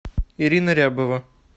ирина рябова